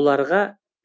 оларға